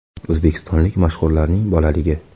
O‘zbekistonlik mashhurlarning bolaligi .